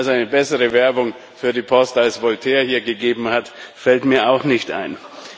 Also eine bessere Werbung für die Post, als Voltaire hier gegeben hat, fällt mir auch nicht ein.